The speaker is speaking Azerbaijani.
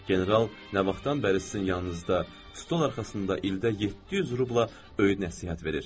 General nə vaxtdan bəri sizin yanınızda stol arxasında ildə 700 rubla öyüd-nəsihət verir?